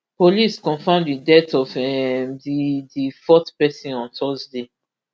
police confam di death of um di di fourth pesin on thursday